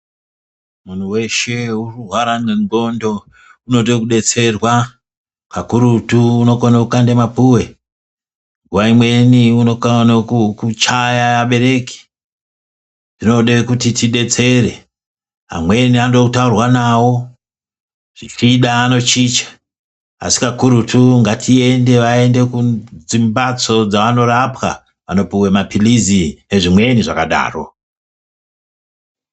Munhu weshe uri kurwara ngendhxondo unode kudetsererwa kakurutu, unokona kukanda mapuwe, nguwa imweni unokaruka kuchaya abereki. Tinode kuti tidetsere, amweni anode kutaurwa nawo zvichida anochicha asi kakurutu ngatiite aende kudzimbatso dzaanorapwa anopuwa mapilizi ezvimweni zvakadaro.